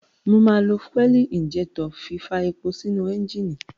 Mo máa fi fúẹ̀lì ìńjẹ́tọ̀ fí fa epo sínú ẹ́ńjínì.